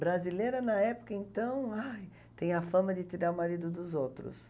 Brasileira, na época, então, ai, tem a fama de tirar o marido dos outros.